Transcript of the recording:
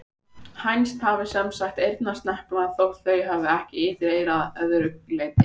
Hænsn hafa sem sagt eyrnasnepla þótt þau hafi ekki ytra eyra að öðru leyti.